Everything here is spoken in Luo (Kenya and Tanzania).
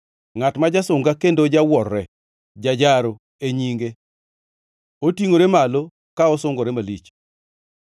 Ngʼat ma jasunga kendo jawuorre “Jajaro” e nyinge; otingʼore malo ka osungore malich.